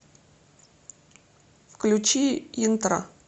включи интро